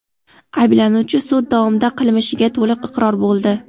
Ayblanuvchi sud davomida qilmishiga to‘liq iqror bo‘ldi.